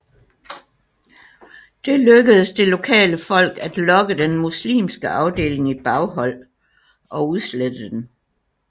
Der lykkedes det lokale folk at lokke den muslimske afdeling i baghold og udslette den